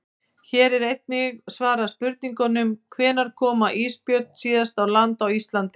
Hér er einnig svarað spurningunum: Hvenær kom ísbjörn síðast á land á Íslandi?